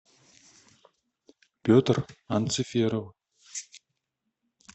петр анциферов